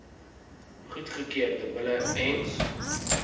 goedgekeurde bulle ens